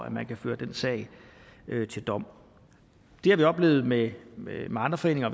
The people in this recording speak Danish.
at man kan føre den sag til dom det har vi oplevet med med andre foreninger